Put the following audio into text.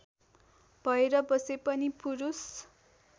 भएर बसे पनि पुरुष